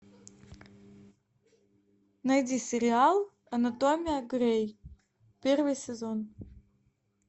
найди сериал анатомия грей первый сезон